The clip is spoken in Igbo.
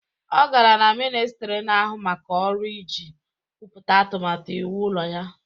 Ọ gara na ministri na-ahụ maka ọrụ iji kwupụta atụmatụ iwu ụlọ ya